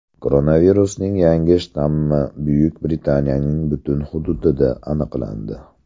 Koronavirusning yangi shtammi Buyuk Britaniyaning butun hududida aniqlandi.